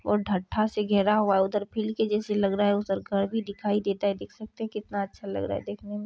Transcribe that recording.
और ढ़टटा से घेरा हुआ है उधर फील्ड जैसी लग रहा है उधर घर भी दिखाई देता है देख सकते है किनता अच्छा लग रहा है।